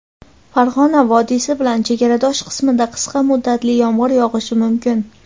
Farg‘ona vodiysi bilan chegaradosh qismida qisqa muddatli yomg‘ir yog‘ishi mumkin.